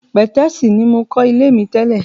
Pẹ̀tẹ́sì ní mokọ́ ilé mi tẹ́lè.